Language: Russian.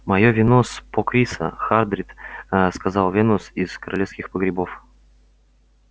моё вино с покриса хардин сказал венус из королевских погребов